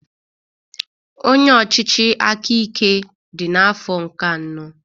Onye ọchịchị aka ike dị n'afọ nke anọ